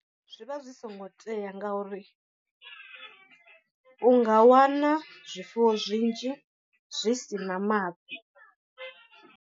Zwi vha zwi songo tea ngauri u nga wana zwifuwo zwinzhi zwi si na mafhi.